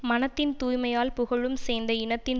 மனத்தின் தூய்மையால் புகழும் சேர்ந்த இனத்தின்